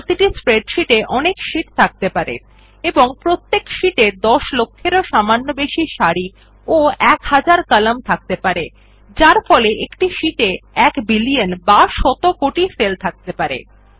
প্রতিটি স্প্রেডশীট এ অনেক শীট থাকতে পারে এবং প্রত্যেক শীট এ দশ লক্ষেরও সামান্য বেশি সারি এবং এক হাজার কলাম থাকতে পারে যার ফলে একটি শীট এ এক বিলিয়ন বা শত কোটি সেল থাকতে পারে